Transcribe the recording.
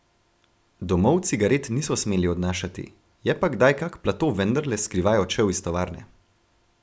Domov cigaret niso smeli odnašati, je pa kdaj kak plato vendarle skrivaj odšel iz tovarne.